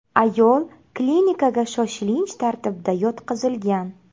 Ayol klinikaga shoshilinch tartibda yotqizilgan.